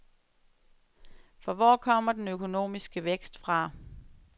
For hvor kommer den økonomiske vækst fra?